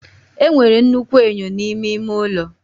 Enwere nnukwu enyo n'ime ime ụlọ